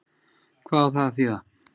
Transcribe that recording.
Hvað á það að þýða?